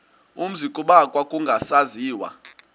umzi kuba kwakungasaziwa